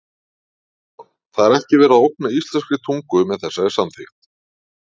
Kristján: Það er ekki verið að ógna íslenskri tungu með þessari samþykkt?